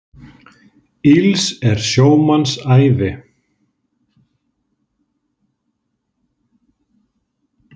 Ills er sjómanns ævi.